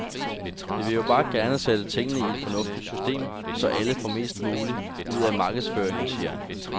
Vi vil jo bare gerne sætte tingene i et fornuftigt system, så alle får mest muligt ud af markedsføringen, siger han.